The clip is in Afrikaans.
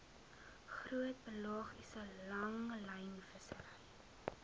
groot pelagiese langlynvissery